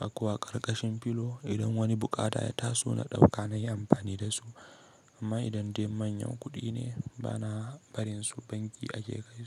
Ɗakko a ƙarƙashin filo idan wani buƙata ya taso na ɗauka nayi amfani da su. Amma idan dai manyan kuɗi ne bana barin su banki ake kai su.